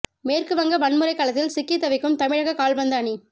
மேற்கு வங்க வன்முறை களத்தில் சிக்கித் தவிக்கும் தமிழக கால்பந்து அணி